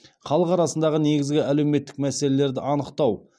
халық арасындағы негізгі әлеуметтік мәселелерді анықтау